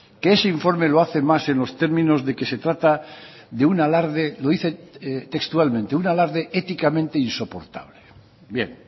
que ese informe lo hace más en los términos de que se trata de un alarde lo dice textualmente un alarde éticamente insoportable bien